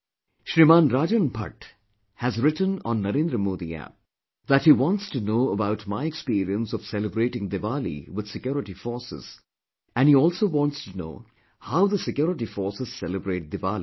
Shriman Rajan Bhatt has written on NarendramodiApp that he wants to know about my experience of celebrating Diwali with security forces and he also wants to know how the security forces celebrate Diwali